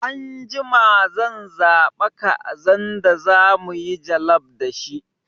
Anjima zan zaɓa kazan da zamuyi jallaf da shi